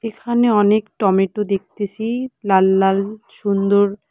এখানে অনেক টমেটো দেখতেসি লাল লাল সুন্দর--